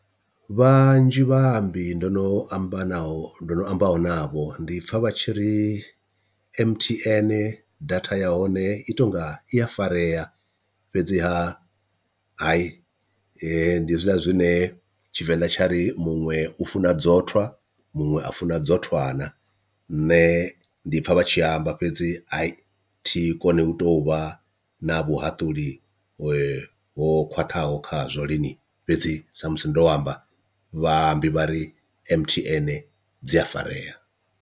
Vhanzhi vhaambi ndono amba naho ndo no amba navho ndi pfha vha tshi ri M_T_N data ya hone i tonga i a farea, fhedziha hai ndi hezwiḽa zwine tshivenḓa tsha ri muṅwe u funa dzotwa muṅwe a funa dzotwana. Nṋe ndi pfha vha tshi amba fhedzi a i thihi kone u tou vha na vhuhaṱuli ho khwaṱhaho khazwo lini fhedzi sa musi ndo amba vhaimbi vhari M_T_N dzi a farea.